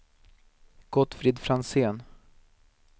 Gottfrid Franzén